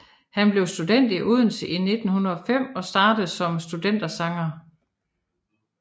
Han blev student i Odense i 1905 og startede som studentersanger